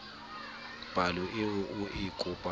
palo eo o e kopang